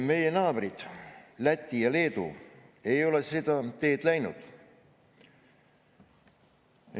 Meie naabrid Läti ja Leedu ei ole seda teed läinud.